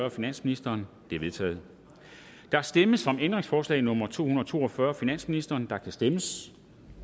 af finansministeren de er vedtaget der stemmes om ændringsforslag nummer to hundrede og to og fyrre af finansministeren og der kan stemmes